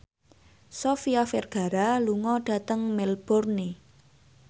Sofia Vergara lunga dhateng Melbourne